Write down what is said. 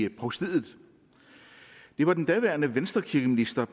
i provstiet det var den daværende venstrekirkeminister